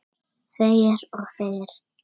Hvað skal til varnar verða?